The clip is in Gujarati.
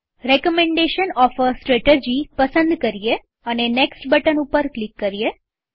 રેકમેન્ડેશન ઓફ અ સ્ત્રેટરજી પસંદ કરીએ અને નેક્સ્ટ બટન ઉપર ક્લિક કરીએ